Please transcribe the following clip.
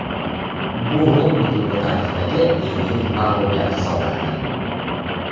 Bu London klubi tarixidagi eng yirik mag‘lubiyat hisoblanadi.